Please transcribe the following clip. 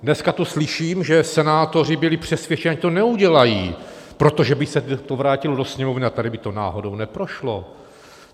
Dneska tu slyším, že senátoři byli přesvědčeni, že to neudělají, protože by se to vrátilo do Sněmovny a tady by to náhodou neprošlo.